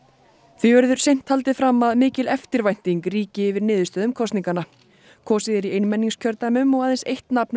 því verður seint haldið fram að mikil eftirvænting ríki yfir niðurstöðum kosninganna kosið er í einmenningskjördæmum og aðeins eitt nafn er